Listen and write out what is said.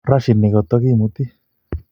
Rashid nikotokimuti